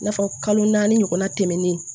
I n'a fɔ kalo naani ɲɔgɔnna tɛmɛnen